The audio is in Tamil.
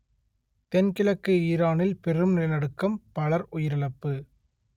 தென்கிழக்கு ஈரானில் பெரும் நிலநடுக்கம் பலர் உயிரிழப்பு